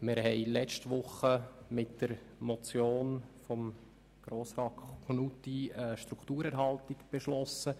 Wir haben in der letzten Woche mit der Motion von Grossrat Knutti eine Strukturerhaltung beschlossen.